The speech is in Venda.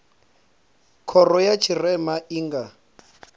khoro ya tshirema i nga